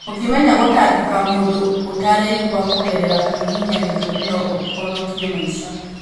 Ũngĩmenya gũtangĩkĩra mũndũ ũtareigua kũgerera kũhihinya gĩthũri no ũhonokie maica.